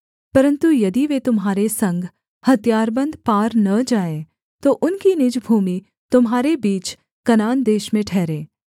परन्तु यदि वे तुम्हारे संग हथियारबन्द पार न जाएँ तो उनकी निज भूमि तुम्हारे बीच कनान देश में ठहरे